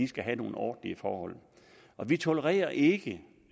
skal have nogle ordentlige forhold vi tolererer ikke